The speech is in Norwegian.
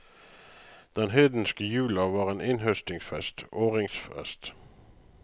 Den hedenske jula var en innhøstningsfest, åringsfest.